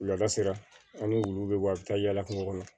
Wulada sera an ni wuluw bɛ bɔ a bɛ taa yala kungo kɔnɔ